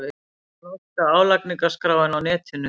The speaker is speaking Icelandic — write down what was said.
Norska álagningarskráin á netinu